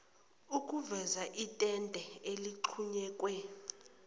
okuveza itende eligxunyekwe